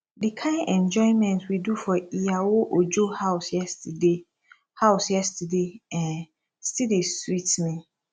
the kyn enjoyment we do for iyawo ojo house yesterday house yesterday um still dey sweet me